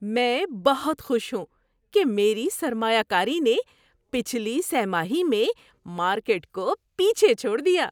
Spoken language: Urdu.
میں بہت خوش ہوں کہ میری سرمایہ کاری نے پچھلی سہ ماہی میں مارکیٹ کو پیچھے چھوڑ دیا۔